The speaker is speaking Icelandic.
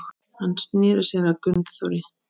Hann sneri sér að Gunnþóri.